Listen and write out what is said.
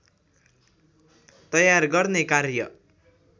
तयार गर्ने कार्य